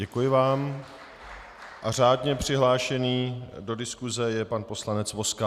Děkuji vám a řádně přihlášený do diskuse je pan poslanec Vozka.